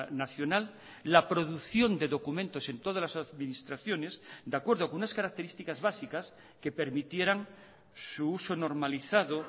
nacional la producción de documentos en todas las administraciones de acuerdo con unas características básicas que permitieran su uso normalizado